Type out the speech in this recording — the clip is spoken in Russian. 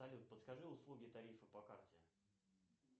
салют подскажи услуги тарифа по карте